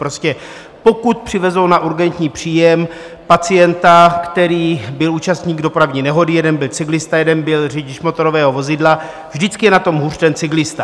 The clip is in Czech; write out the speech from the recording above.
Prostě pokud přivezou na urgentní příjem pacienta, který byl účastník dopravní nehody, jeden byl cyklista, jeden byl řidič motorového vozidla, vždycky je na tom hůř ten cyklista.